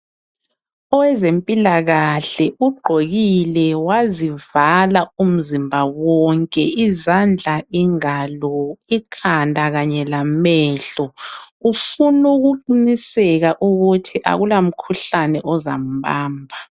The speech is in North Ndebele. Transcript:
owezempilakahle ugqokile wazivala umzimba wonke izandla ingalo ikhanda lamehlo ufuna ukuqhinisela ukuba akula mkhuhlane ozamubamba